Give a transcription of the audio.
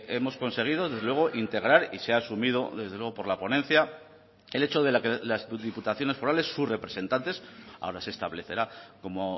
hemos conseguido desde luego integrar y se ha asumido desde luego por la ponencia el hecho de que las diputaciones forales sus representantes ahora se establecerá como